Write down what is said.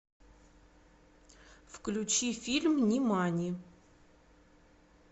включи фильм нимани